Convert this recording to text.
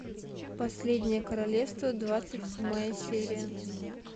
последнее королевство двадцать седьмая серия